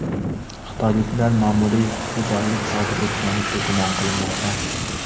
Xitoyliklar ma’muriy huquqbuzarlik sodir etganlikda gumon qilinmoqda.